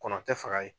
Kɔnɔ tɛ faga ye